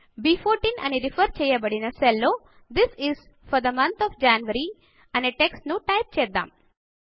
బ్14 అని రిఫర్ చేయబడిన సెల్ లో this is for the month of January అనే టెక్స్ట్ ను టైప్ చేద్దాము